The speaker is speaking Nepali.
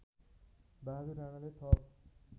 बहादुर राणाले थप